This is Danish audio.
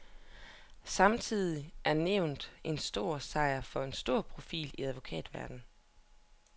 Samtidig er nævnet en stor sejr for en stor profil i advokatverdenen.